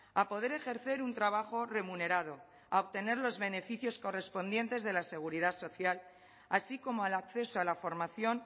a poder ejercer un trabajo remunerado a obtener los beneficios correspondientes de la seguridad social así como al acceso a la formación